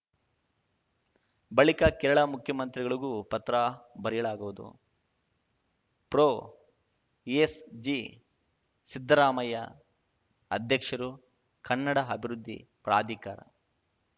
ಬಳಿಕ ಕೇರಳ ಮುಖ್ಯಮಂತ್ರಿಗಳಿಗೂ ಪತ್ರ ಬರೆಯಲಾಗುವುದು ಪ್ರೊಎಸ್‌ಜಿ ಸಿದ್ದರಾಮಯ್ಯ ಅಧ್ಯಕ್ಷರು ಕನ್ನಡ ಅಭಿವೃದ್ಧಿ ಪ್ರಾಧಿಕಾರ